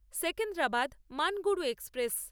Secunderabad Manuguru express